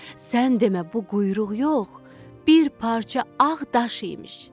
Sən demə bu quyruq yox, bir parça ağ daş imiş.